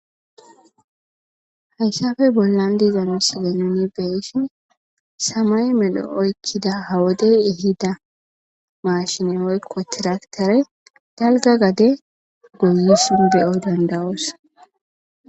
Haysafe bollan diizano silenoni beyshin samay melho7oykkida hawodey ehida maashineyoykko tiraktere dalga gade goyisun beyo dandawoos.